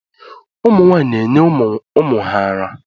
Ụmụ nwaanyị na-enye ụmụ ha ara.